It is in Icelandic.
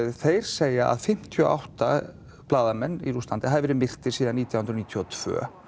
þeir segja að fimmtíu og átta blaðamenn í Rússlandi hafi verið myrtir síðan nítján hundruð níutíu og tvö